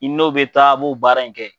I n'o be taa a b'o baara in kɛ.